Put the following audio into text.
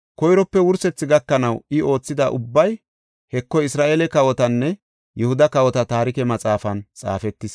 koyrope wursethi gakanaw I oothida ubbay, Heko, Isra7eele kawotanne Yihuda kawota taarike maxaafan xaafetis.